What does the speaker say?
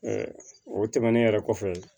o tɛmɛnen yɛrɛ kɔfɛ